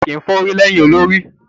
Áà kí n fà orí lẹ́yìn olórí